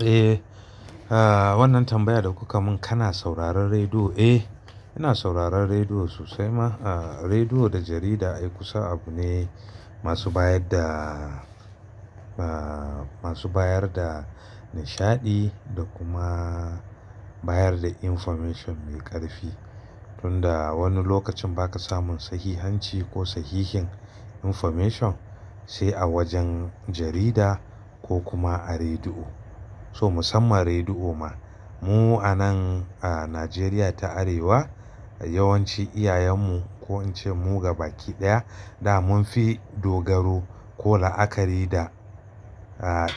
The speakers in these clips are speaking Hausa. Eh, a wannan tambayar da kuka mun kana sauraron rediyo. Eh, ina sauraron rediyo sosai ma. A rediyo da jarida ai kusa abu ne masu bayar da, a masu bayar da nishaɗi da kuma bayar da information mai ƙarfi. Tun da wani lokacin ba ka samun sahihanci ko sahihin information sai a wajen jarida ko kuma a rediyo. So musamman rediyo ma. Mu a nan a Najeriya ta Arewa yawanci iyayenmu ko in ce mu gaba kiɗaya da munfi dogaro ko la'akari da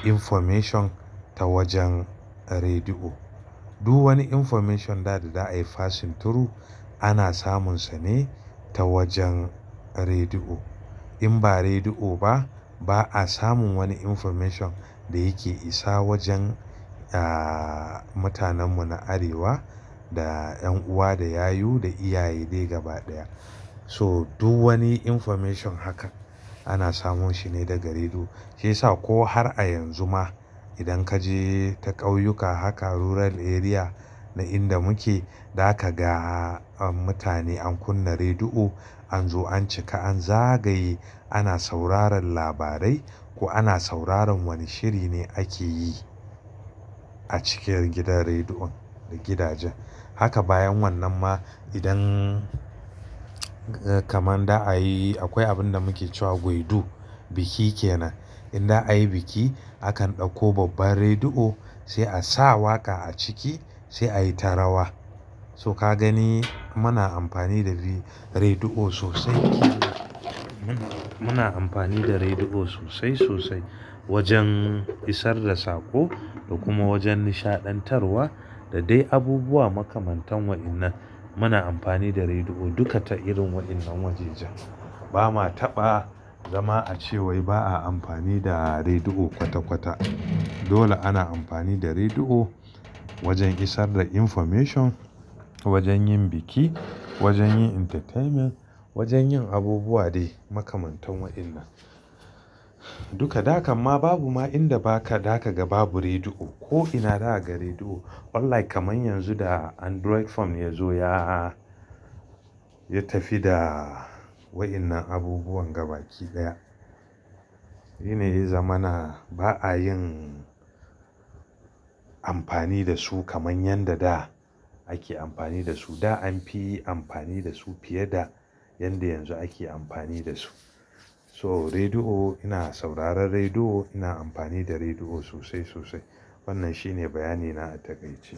information ta wajen rediyo. Du wani information da da ai fasin turu ana samun sa ne ta wajen rediyo. In ba rediyo ba, ba a samun wani information da yake isa wajen a mutanen mu na Arewa da ƴan uwa, da yayu, da iyaye dai gabaɗaya. To du wani information haka ana samun shi ne daga rediyo. Sai sa ko har a yanzu ma idan kaje ta ƙauyuka haka rural area na inda muke, da kaga mutane an kunna rediyo, an zo, an cika, an zagaye, ana sauraron labarai ko ana sauraron wani shiri ne ake yi a cikin gidan rediyon da gidaje. Haka bayan wannan ma idan kamar da a yi akwai abin da muke cewa goidu, biki kenan. Inda a yi biki akan ɗauko babbar rediyo sai a sa waƙa a ciki sai a yi ta rawa. So ka gani muna amfani da rediyo sosai muna amfani da rediyo sosai sosai wajen isar da saƙo da kuma wajen nishaɗantarwa da dai abubuwa makamantan waɗannan. Muna amfani da rediyo duka ta irin waɗannan wajejan. Ba ma taɓa zama a cewai ba a amfani da rediyo kwata kwata. Dole ana amfani da rediyo wajen isar da information, wajen yin biki, wajen yin entertainment, wajen yin abubuwa dai makamantan waɗannan. Duka da kamma babu ma inda ba ka da ka ga babu rediyo ko ina da aka rediyo. Unlike kamar yanzu da android phone ya zo ya, ya tafi da waɗannan abubuwan gaba kiɗaya. Yi ne yi zamana ba a yin amfani da su kamar yanda da ake amfani da su. Da anfi amfani da su fiye da yanda yanzu ake amfani da su. To rediyo ina sauraron rediyo, ina amfani da rediyo sosai sosai. Wannan shine bayani na a takaice.